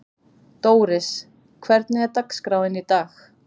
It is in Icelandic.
Dóris, hvernig er dagskráin í dag?